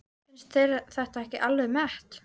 Finnst þér þetta ekki alveg met!